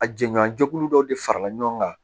A jɛɲɔgɔnya jɛkulu dɔ de farala ɲɔgɔn kan